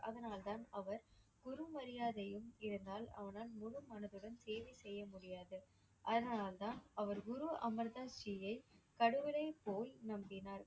அதனால்தான் அவர் குரு மரியாதையும் இருந்தால் அவனால் முழு மனதுடன் சேவை செய்ய முடியாது. அதனால்தான் அவர் குரு அமர் தாஸ் ஜியை கடவுளைப் போல் நம்பினார்.